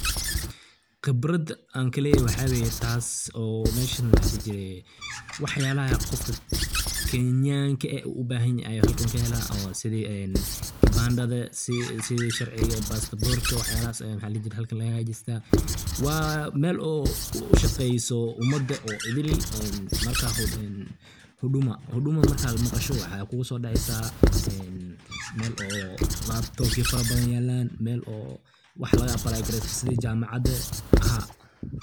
Qibrad ankaley waxa weye taas oo meshan maxa ladhihi jire waxyalaha qofka kenyanka eh u ubahan yahay aya halkan kaheela sidii oo kibandada sidii sharciga bastaborka wax yalahas aya halkan laga hagajistaa. waa Mel ushaqeyso imada idil marka huduma markad maqasho waxa kuguso dhaceysa Mel oo labtobya farada badan yalan Mel oo wax laga ablaygareysta sidii jamacada